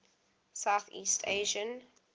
south east asian